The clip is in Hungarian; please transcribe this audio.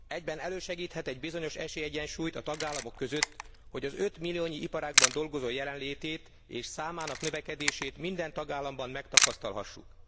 Egyben elősegíthet egy bizonyos esélyegyensúlyt a tagállamok között, hogy az 5 milliónyi iparágban dolgozó jelenlétét és számának növekedését minden tagállamban megtapasztalhassuk.